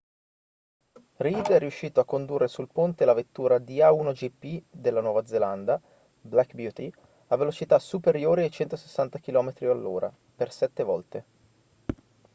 reid è riuscito a condurre sul ponte la vettura di a1gp della nuova zelanda black beauty a velocità superiori ai 160 km/h per sette volte